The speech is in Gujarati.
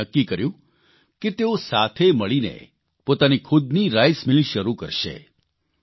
તેમણે નક્કી કર્યું કે તેઓ સાથે મળીને પોતાની ખુદની રાઇસમિલ શરૂ કરશે